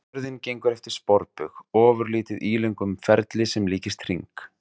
Jörðin gengur eftir sporbaug, ofurlítið ílöngum ferli sem líkist hring.